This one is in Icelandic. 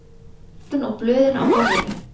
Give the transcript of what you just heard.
Tímaritin og blöðin á borðinu.